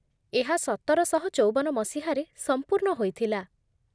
ଏହା ସତରଶହଚଉବନ ମସିହାରେ ସମ୍ପୂର୍ଣ୍ଣ ହୋଇଥିଲା।